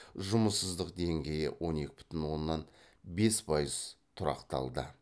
жұмыссыздық деңгейі он екі бүтін оннан бес пайыз тұрақталды